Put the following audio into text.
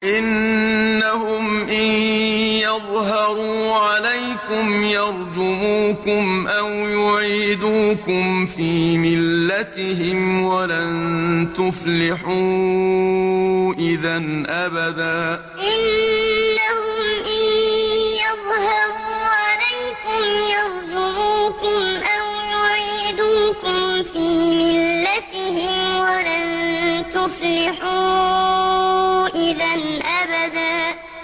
إِنَّهُمْ إِن يَظْهَرُوا عَلَيْكُمْ يَرْجُمُوكُمْ أَوْ يُعِيدُوكُمْ فِي مِلَّتِهِمْ وَلَن تُفْلِحُوا إِذًا أَبَدًا إِنَّهُمْ إِن يَظْهَرُوا عَلَيْكُمْ يَرْجُمُوكُمْ أَوْ يُعِيدُوكُمْ فِي مِلَّتِهِمْ وَلَن تُفْلِحُوا إِذًا أَبَدًا